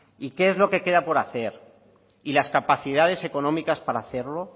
y qué es lo que queda por hacer y las capacidades económicas para hacerlo